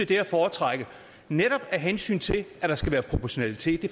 det er at foretrække netop af hensyn til at der skal være proportionalitet